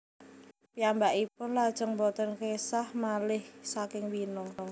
Piyambakipun lajeng boten késah malih saking Wina